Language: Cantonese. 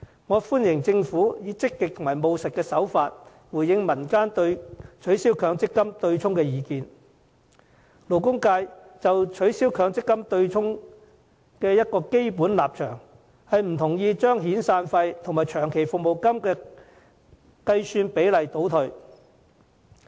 我們歡迎政府以積極和務實的方式回應民間對取消強積金對沖的意見，勞工界就取消強積金對沖的基本立場是不同意降低遣散費及長期服務金的計算比例。